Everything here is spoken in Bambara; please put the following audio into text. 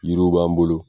Yiriw b'an bolo